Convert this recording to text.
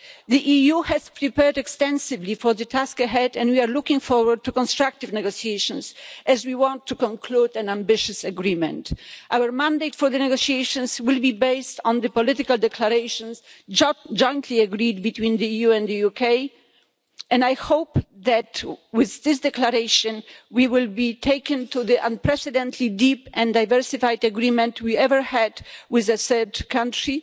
The EU has prepared extensively for the task ahead, and we are looking forward to constructive negotiations, as we want to conclude an ambitious agreement. Our mandate for the negotiations will be based on the political declarations jointly agreed between the EU and the UK, and I hope that, with this declaration, we will be taken to the most unprecedentedly deep and diversified agreement we ever had with a third country,